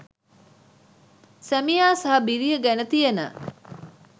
සැමියා සහ බිරිය ගැන තියෙන